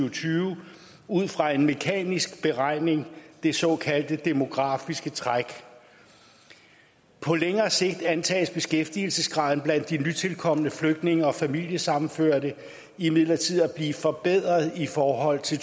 og tyve ud fra en mekanisk beregning det såkaldte demografiske træk på længere sigt antages beskæftigelsesgraden blandt de nytilkomne flygtninge og familiesammenførte imidlertid at blive forbedret i forhold til